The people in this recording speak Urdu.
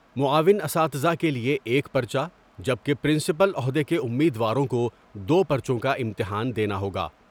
معاون اساتزہ کے لئے ایک پرچہ جبکہ پرنسپل عہدے کے امیدواروں کو دو پر چوں کا امتحان دینا ہوگا ۔